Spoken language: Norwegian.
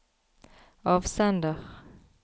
avsender